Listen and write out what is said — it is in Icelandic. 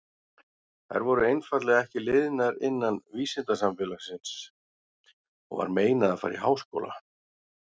Þær voru einfaldlega ekki liðnar innan vísindasamfélagsins og var meinað að fara í háskóla.